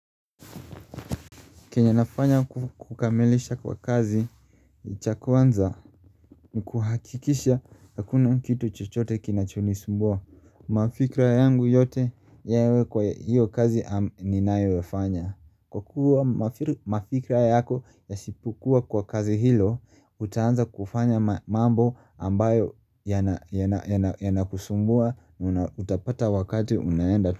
Kenyenafanya kukamilisha kwa kazi, cha kwanza ni kuhakikisha hakuna kitu chochote kinachonisumbua. Mafikra yangu yote yawe kwa hiyo kazi ninayoifanya. Kwa kuwa mafikra yako ya sipokuwa kwa kazi hilo, utaanza kufanya mambo ambayo yanakusumbua, utapata wakati unaenda.